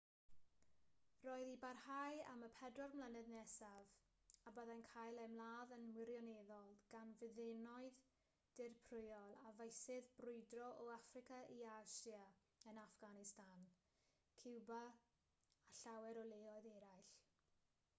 roedd i barhau am y 40 mlynedd nesaf a byddai'n cael ei ymladd yn wirioneddol gan fyddinoedd dirprwyol ar feysydd brwydro o affrica i asia yn affganistan ciwba a llawer o leoedd eraill